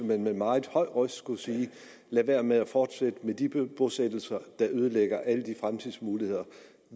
man med meget høj røst skulle sige lad være med at fortsætte med de bosættelser der ødelægger alle de fremtidsmuligheder